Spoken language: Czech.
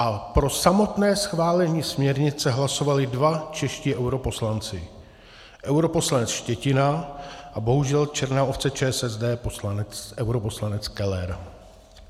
A pro samotné schválení směrnice hlasovali dva čeští europoslanci - europoslanec Štětina a bohužel černá ovce ČSSD europoslanec Keller.